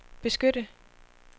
beskytte